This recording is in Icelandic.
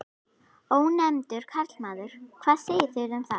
Ónefndur karlmaður: Hvað segið þið um það?